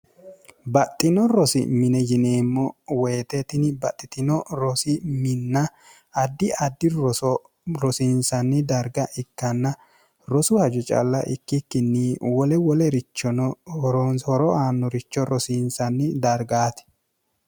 baxxino rosi mine yineemmo woyitetini baxxitino rosi minna addi addi roso rosiinsanni darga ikkanna rosu haju calla ikkikkinni wole woleerichono hroonhoro aannoricho rosiinsanni dargaati